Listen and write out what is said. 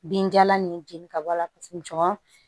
Binjalan nin jeni ka bɔ a la paseke jɔn